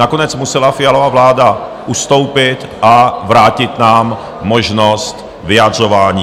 Nakonec musela Fialova vláda ustoupit a vrátit nám možnost vyjadřování.